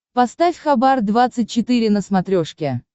поставь хабар двадцать четыре на смотрешке